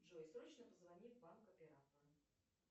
джой срочно позвони в банк оператору